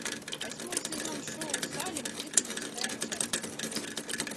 восьмой сезон шоу салем тридцать шестая часть